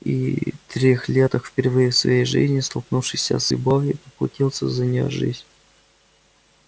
и трёхлеток впервые в своей жизни столкнувшийся с любовью поплатился за неё жизнью